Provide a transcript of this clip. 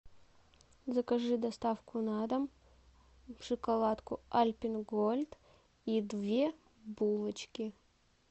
закажи доставку на дом шоколадку альпен гольд и две булочки